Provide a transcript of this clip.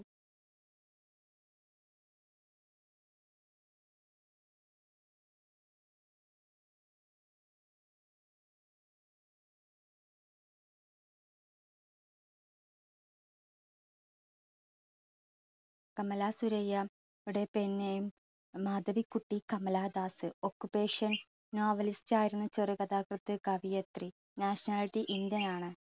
കമല സുരയ്യ~ടെ പിന്നെയും Madhavikutty Kamala Das occupation novelist ആയിരുന്ന ചെറു കഥാകൃത്ത് കവിയത്രി nationality indian ആണ്.